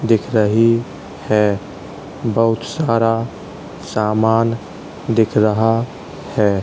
दिख रही है। बहोत सारा सामान दिख रहा है।